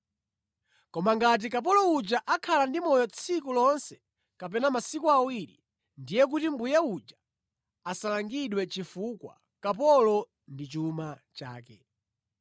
Koma ngati kapolo uja akhala ndi moyo tsiku lonse kapena masiku awiri, ndiye kuti mbuye uja asalangidwe chifukwa kapolo ndi chuma chake.